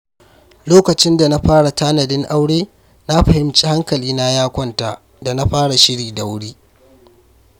Lokacin da na fara tanadin aure, na fahimci hankalina ya kwanta da na fara shiri da wuri.